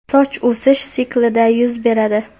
Soch o‘sish siklida yuz beradi.